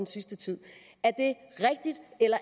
sidste tid